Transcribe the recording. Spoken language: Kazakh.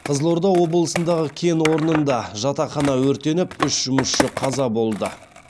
қызылорда облысындағы кен орнында жатақхана өртеніп үш жұмысшы қаза болды